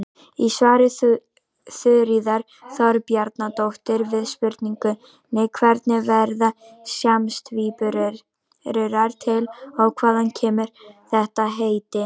Í svari Þuríðar Þorbjarnardóttur við spurningunni Hvernig verða síamstvíburar til og hvaðan kemur þetta heiti?